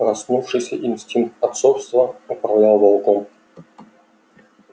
проснувшийся инстинкт отцовства управлял волком